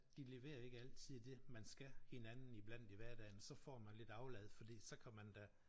De leverer ikke altid det man skal hinanden iblandt i hverdagen så får man lidt aflad fordi så kan man da